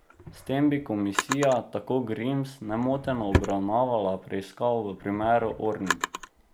S tem bi komisija, tako Grims, nemoteno obravnavala preiskavo v primeru Ornig.